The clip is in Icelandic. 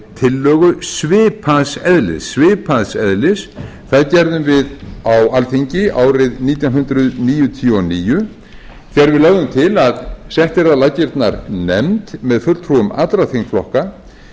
tillögu svipaðs eðlis það gerðum við á alþingi árið nítján hundruð níutíu og níu þegar við lögðum til að sett yrði á laggirnar nefnd með fulltrúum allra þingflokka